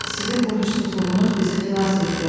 Sizin bu hissizliyiniz bizi xilas etdi.